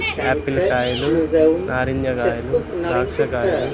apple కాయాలు నారింజ కాయాలు ద్రాక్ష కాయాలు --